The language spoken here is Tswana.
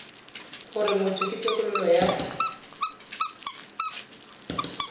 gore motho ke tokololo ya